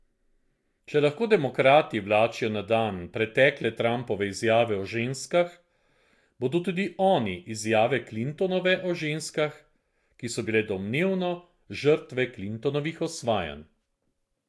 Če lahko demokrati vlačijo na dan pretekle Trumpove izjave o ženskah, bodo tudi oni izjave Clintonove o ženskah, ki so bile domnevno žrtve Clintonovih osvajanj.